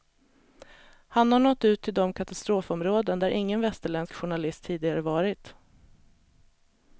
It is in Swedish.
Han har nått ut till de katastrofområden där ingen västerländsk journalist tidigare varit.